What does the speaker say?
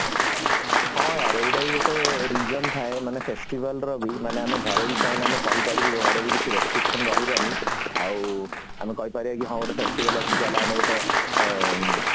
ହଁ ୟାର ଏଇଟା ବି ଗୋଟେ reason ଥାଏ ମାନେ festival ର ବି ମାନେ ଘରେ ବି ଚାହିଲେ ଆମେ କହି ପାରିବୁ ଘରେ ଯଦି କିଛି restriction ରହିବନି ଆଉ ଆମେ କହି ପାରିବା କି ହଁ ଗୋଟେ festival ଅଛି ଚାଲ ଆମେ ଗୋଟେ ଅମ